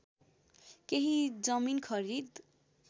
केही जमिन खरिद